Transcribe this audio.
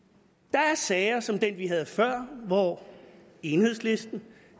der er sager som den vi havde før hvor enhedslisten